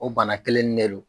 O bana kelen ne don.